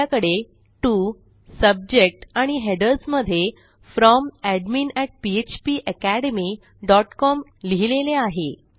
आपल्याकडे to subject आणि headers मधे Fromadminphpacademycom लिहिलेले आहे